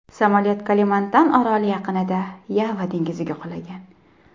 Samolyot Kalimantan oroli yaqinida, Yava dengiziga qulagan.